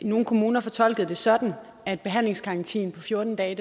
nogle kommuner fortolkede det sådan at behandlingsgarantien på fjorten dage